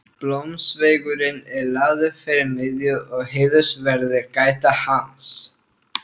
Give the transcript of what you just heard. Blómsveigurinn er lagður fyrir miðju og heiðursverðir gæta hans.